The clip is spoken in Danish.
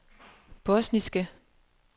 bosniske